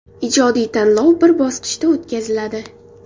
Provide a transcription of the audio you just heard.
Ijodiy tanlov bir bosqichda o‘tkaziladi.